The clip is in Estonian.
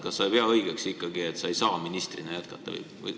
Kas sa ei pea siis õigeks, et sa ei saa ministrina jätkata?